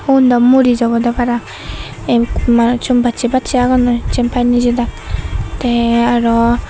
ugundo muris obodey para ekkur manussun bassey bassey agonnoi jempai nejedak te araw.